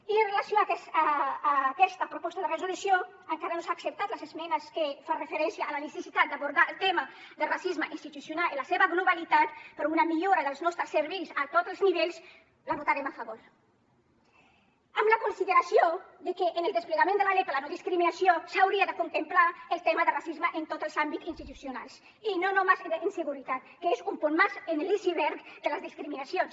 i amb relació a aquesta proposta de resolució encara que no s’han acceptat les esmenes que fan referència a la necessitat d’abordar el tema del racisme institucional en la seva globalitat per a una millora dels nostres serveis a tots els nivells la votarem a favor amb la consideració de que en el desplegament de la llei per la no discriminació s’hauria de contemplar el tema de racisme en tots els àmbits institucionals i no només d’inseguretat que és un punt més en l’iceberg de les discriminacions